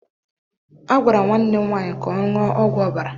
A gwara nwanne m nwaanyị ka ọ ṅụọ ọgwụ ọbara